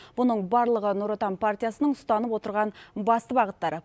бұның барлығы нұр отан партиясының ұстанып отырған басты бағыттары